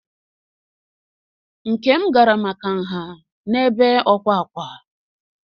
Nkem gara maka nha n'ebe ọkwà ákwá.